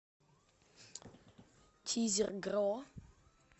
тизер гро